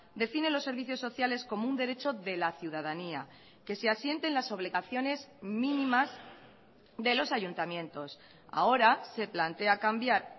define los servicios sociales como un derecho de la ciudadanía que se asiente en las obligaciones mínimas de los ayuntamientos ahora se plantea cambiar